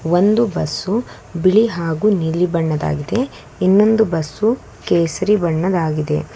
ಒಂದು ಬಸ್ಸು ಬಿಳಿ ಹಾಗು ನೀಲಿ ಬಣ್ಣದ್ದಾಗಿದೆ ಇನ್ನೊಂದು ಬಸ್ಸು ಕೇಸರಿ ಬಣ್ಣದಾಗಿದೆ.